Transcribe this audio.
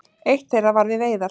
Eitt þeirra var við veiðar.